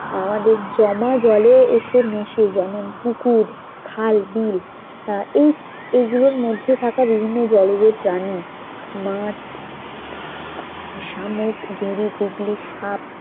আহ আমাদের জমা জলে এসে মেশে যেমন পুকুর খাল বিল আহ এই এইগুলোর মধ্যে থাকা বিভিন্ন জলজ প্রাণী মাছ শামুক গিরি গুগলি সাপ